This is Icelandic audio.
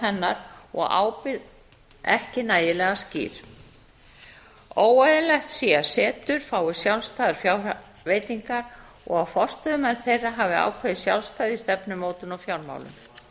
hennar og ábyrgð ekki nægilega skýr óeðlilegt sé að setur fái sjálfstæðar fjárveitingar og að forstöðumaður þeirra hafi ákveðið sjálfstæði í stefnumótun og fjármálum